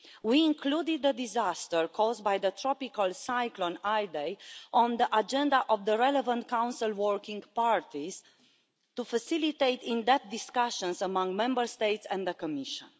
We included the disaster caused by the tropical cyclone Idai on the agenda of the relevant Council working parties to facilitate in-depth discussions among Member States and the Commission.